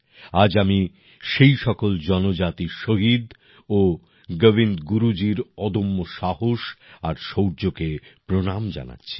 আজ আমি সেই সকল জনজাতি শহীদ ও গোবিন্দ গুরুজীর অদম্য সাহস আর শৌর্যকে প্রণাম জানাচ্ছি